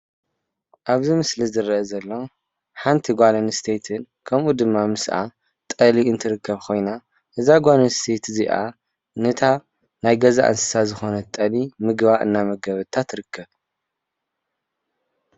ኣብዚ ምስሊ ዝርአ ዘሎ ሓንቲ ጓል ኣነስተይቲ ከምኡ ድማ ምስኣ ጠሊ እንትርከብ ኮይና እዛ ጓል ኣነስተይቲ እዚኣ ነታ ናይ ገዛ እንሰሳ ዝኮነት ጠሊ ምግባ እና መገበታ ትርከብ።